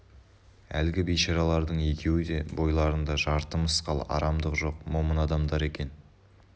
әлгі бейшаралардың екеуі де бойларында жарты мысқал арамдық жоқ момын адамдар екен